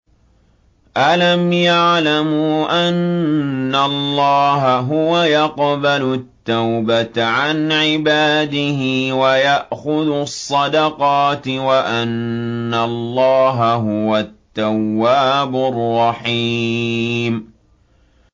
أَلَمْ يَعْلَمُوا أَنَّ اللَّهَ هُوَ يَقْبَلُ التَّوْبَةَ عَنْ عِبَادِهِ وَيَأْخُذُ الصَّدَقَاتِ وَأَنَّ اللَّهَ هُوَ التَّوَّابُ الرَّحِيمُ